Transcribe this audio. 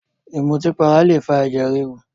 Ìmùtípara lè fa ẹ̀jẹ̀ ríru